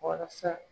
Walasa